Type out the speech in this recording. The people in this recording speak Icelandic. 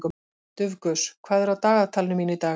Dufgus, hvað er á dagatalinu mínu í dag?